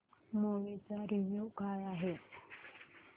movie चा review काय आहे